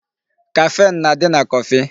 Caffeine na-adị na coffee.